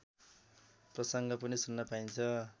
प्रसङ्ग पनि सुन्न पाइन्छ